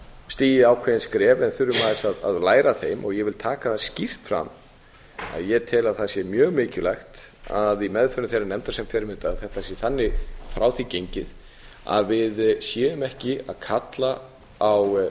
stigið ákveðin skref en þurfum aðeins að læra af þeim ég vil taka það skýrt fram að ég tel að það sé mjög mikilvægt að í meðförum þeirrar nefndar sem fer með þetta að þetta sé þannig frá því gengið að við séum ekki að kalla á